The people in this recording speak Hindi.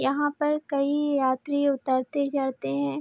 यहाँ पर कई यात्री उतरते-चढ़ते हैं।